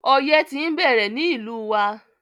Ọyẹ́ ti ń bẹ̀rẹ̀ ní ìlú wa.